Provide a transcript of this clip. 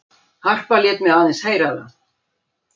Harpa lét mig aðeins heyra það.